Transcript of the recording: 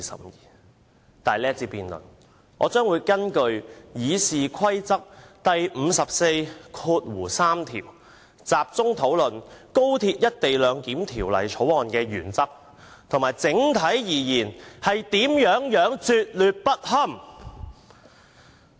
然而，在這一節辯論，我將會根據《議事規則》第543條，集中討論《條例草案》的原則及整體而言有多拙劣不堪。